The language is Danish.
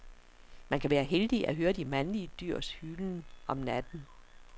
Man kan være heldig at høre de mandlige dyrs hylen om natten.